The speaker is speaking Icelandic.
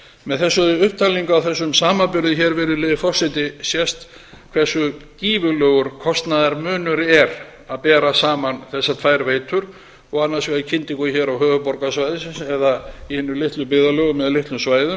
með þessari upptalningu á þessum samanburði hér virðulegi forseti sést hversu gífurlegur kostnaðarmunur er að bera saman þessar tvær veitur og annars vegar kyndingu hér á höfuðborgarsvæðinu eða í hinum litlu byggðarlögum eða á litlum svæðum